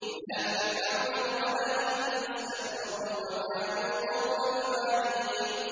إِلَىٰ فِرْعَوْنَ وَمَلَئِهِ فَاسْتَكْبَرُوا وَكَانُوا قَوْمًا عَالِينَ